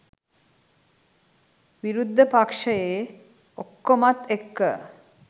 විරුද්ධ පක්‍ෂයේ ඔක්කොමත් එක්ක